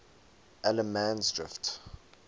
allemansdrift